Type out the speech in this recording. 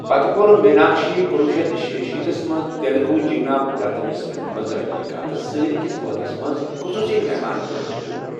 پتہٕ کوٚر میناکشی کنۄہ شیتھ شیشیِتھ یس منٛز تیلگو جیٖونا پوراتمس فلمہ منٛز رجنی کانتس سۭتۍ أکِس بٲتس منٛز خصوصی مہمانہ پٲٹھۍ رول ۔